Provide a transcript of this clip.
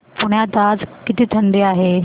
पुण्यात आज किती थंडी आहे